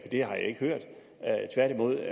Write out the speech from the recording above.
det har jeg ikke hørt tværtimod